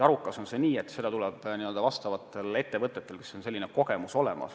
Arukas on see, et seda teevad vastavad ettevõtted, kel on kogemus olemas.